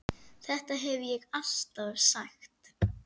Þetta hef ég alltaf sagt!